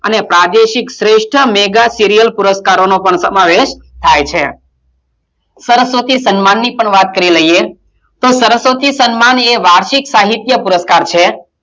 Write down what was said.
અને પ્રાદેશિક શ્રેષ્ઠ મેઘા સિરિયલ પુરસ્કારોનો પણ સમાવેશ થાય છે સરસ્વતી સન્માનની પણ વાત કરી લઈએ તો સરસ્વતી સન્માન એ વાર્ષિક સાહિત્ય પુરસ્કાર છે.